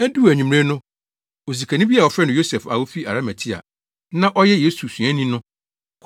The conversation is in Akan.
Eduu anwummere no, osikani bi a wɔfrɛ no Yosef a ofi Arimatea a na ɔyɛ Yesu suani no,